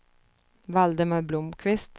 Valdemar Blomqvist